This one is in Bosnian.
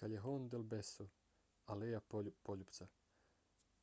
callejon del beso aleja poljupca.